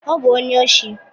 Ọ bụ onye oshi.